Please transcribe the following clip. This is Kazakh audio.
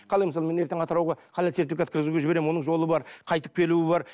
қалай мысалы мен ертең атырауға халал сертификатқа өткізуге жіберемін оның жолы бар қайтып келуі бар